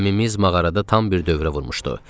Gəmimiz mağarada tam bir dövrə vurmuşdu.